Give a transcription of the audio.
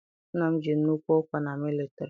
Nna m ji nnukwu ọkwa na militari.